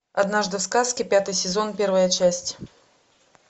однажды в сказке пятый сезон первая часть